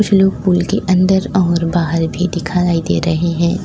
लोग पुल के अंदर और बाहर भी दिखाई दे रहे है।